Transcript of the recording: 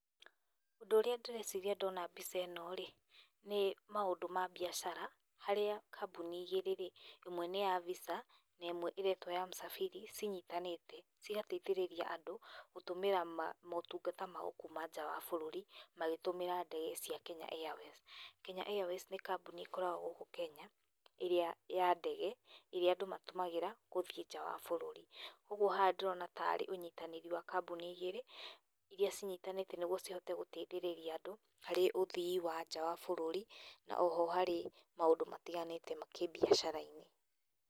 Ũndũ ũrĩa ndĩreciria ndona mbica ĩno-rĩ nĩ maũndũ ma mbiacara hĩrĩa kambuni igĩrĩ-ri, ĩmwe nĩ ya Visa na ĩmwe ĩretwo ya Msafiri cinyitanĩte cigateithĩrĩria andũ gũtũmĩra maũtungata mao kuma nja ya bũrũri magĩtumĩra ndege cia Kenya Airways . Kenya Airways ni kambuni ĩkoragwo gũkũ Kenya ĩrĩa andũ matũmagĩra kuma nja ya bũrũri. Ũguo haha ndĩrona tarĩ ũnyitanĩri wa kambuni igĩrĩ iria cinyitanĩte nĩguo cihote gũteithĩrĩria andũ harĩ uthii wa nja ya bũrũri na oho harĩ maũndũ matigantĩe ma kĩbiacara.